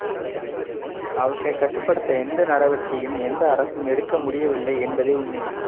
அவற்றை கட்டுப்படுத்த எந்த நடவடிக்கையையும் எந்த அரசும் எடுக்க முடியவில்லை என்பதே உண்மை